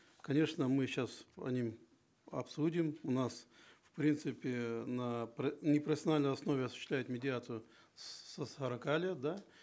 конечно мы сейчас по ним обсудим у нас в принципе на непрофессиональной основе осуществляет медиацию с сорока лет да